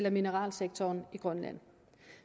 og mineralsektoren i grønland